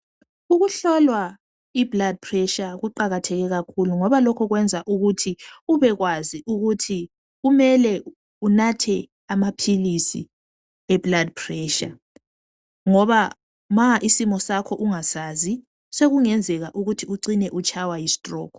Ukuhlolwa iblood pressure kuqakatheke kakhulu ngoba lokhu kwenza ukuthi ubekwazi ukuthi kumele unathe amaphilizi eblood pressure ngoba nxa isimo sakho ungasazi sokungenzeka ucina itshaywa yistroke.